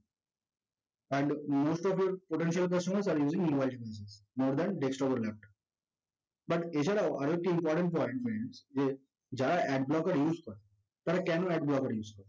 most of the potential customers are using mobile devices more than desktop and laptop but এছাড়াও আরেকটা important point যে যারা ad blocker use তারা কেন ad blocker use করে